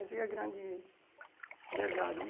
Essa que é a grande verdade, né?